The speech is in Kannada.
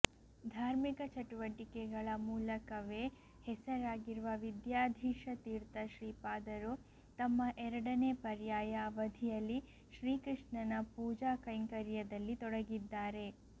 ಧಾರ್ಮಿಕ ಚಟುವಟಿಕೆಗಳ ಮೂಲಕವೇ ಹೆಸರಾಗಿರುವ ವಿದ್ಯಾಧೀಶ ತೀರ್ಥ ಶ್ರೀಪಾದರು ತಮ್ಮ ಎರಡನೇ ಪರ್ಯಾಯ ಅವಧಿಯಲ್ಲಿ ಶ್ರೀಕೃಷ್ಣನ ಪೂಜಾ ಕೈಂಕರ್ಯದಲ್ಲಿ ತೊಡಗಿದ್ದಾರೆ